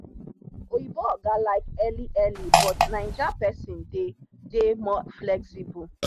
oyinbo oga like early early but naija people dey dey more flexible.